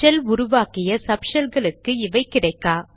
shell உருவாக்கிய sub ஷெல்களுக்கு இவை கிடைக்கா